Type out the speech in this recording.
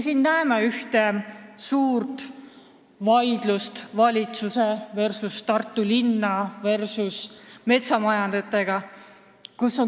Praegu käib suur vaidlus valitsus versus Tartu linn versus metsamajandajad.